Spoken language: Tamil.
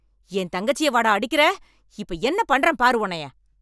என் தங்கச்சியவாடா அடிக்கற, இப்ப என்ன பண்றேன் பாரு உன்னைய.